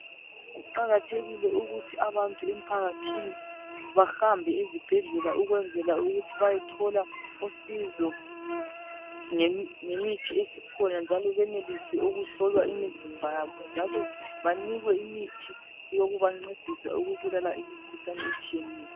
Kuqakathekile ukuthi abantu emphakathini bahambe ezibhendlela ukwenzela ukuthi bayethola usizo ngemithi esikhona njalo benelise ukuhlolwa imizimba yabo njalo banikwe imithi yokubancedisa ukubulala imikhuhlane etshiyeneyo.